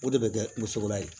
O de bɛ kɛ musoko la yen